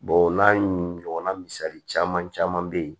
o n'a ɲɔgɔnna misali caman caman bɛ ye